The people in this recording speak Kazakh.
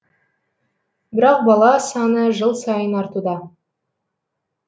бірақ бала саны жыл сайын артуда